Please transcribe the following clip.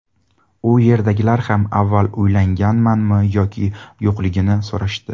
U yerdagilar ham avval uylanganmanmi yoki yo‘qligini so‘rashdi.